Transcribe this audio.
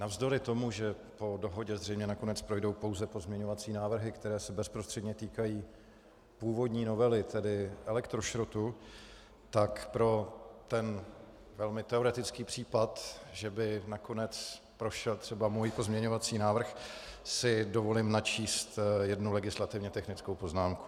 Navzdory tomu, že po dohodě zřejmě nakonec projdou jenom pozměňovací návrhy, které se bezprostředně týkají původní novely, tedy elektrošrotu, tak pro ten velmi teoretický případ, že by nakonec prošel třeba můj pozměňovací návrh, si dovolím načíst jednu legislativně technickou poznámku.